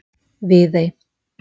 Viðey